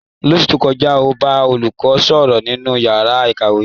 Lóṣú tó kọjá, ó bá olùkọ́ sọ̀rọ̀ nínú ìyára ìkàwé.